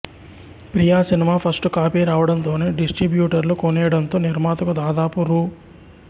ప్రియ cinema first copy రావడంతోనే డిస్ట్రిబ్యూటర్లు కొనేయడంతో నిర్మాతకు దాదాపు రూ